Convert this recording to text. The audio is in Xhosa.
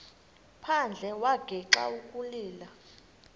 phandle wagixa ukulila